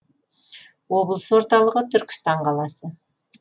облыс орталығы түркістан қаласы